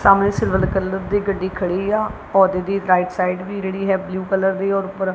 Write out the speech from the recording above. ਸਾਹਮਣੇ silver colour ਦੀ ਗੱਡੀ ਖੜੀ ਆ ਪੌਦੇ ਦੀ ਰਾਈਟ ਸਾਈਡ ਵੀ ਜਿਹੜੀ ਹੈ ਬਲੂ ਕਲਰ ਦੀ ਔਰ ਉੱਪਰ--